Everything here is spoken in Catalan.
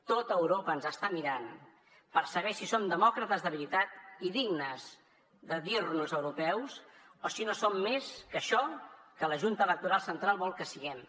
tot europa ens està mirant per saber si som demòcrates de veritat i dignes de dir nos europeus o si no som més que això que la junta electoral central vol que siguem